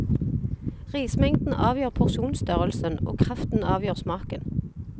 Rismengden avgjør porsjonstørrelsen og kraften avgjør smaken.